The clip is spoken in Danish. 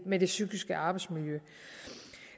med det psykiske arbejdsmiljø